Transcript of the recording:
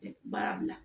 Baara bila